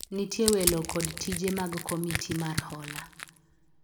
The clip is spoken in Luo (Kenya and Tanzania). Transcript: nitie welo kod tije mag komiti mar hola